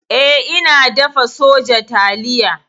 E, ina dafa soja taliya.